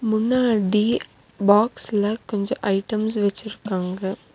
முன்னாடி பாக்ஸ்ல கொஞ்ஜொ ஐட்டம்ஸ் வச்சிருக்காங்க.